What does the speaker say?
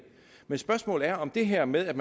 men spørgsmålet er om det her med at